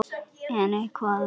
En hvað um það